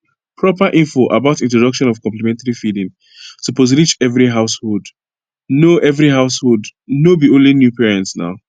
proper info about introduction of complementary feeding suppose reach every householdno every householdno be only new parents naw